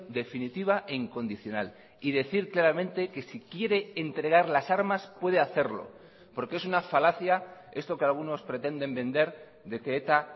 definitiva e incondicional y decir claramente que si quiere entregar las armas puede hacerlo porque es una falacia esto que algunos pretenden vender de que eta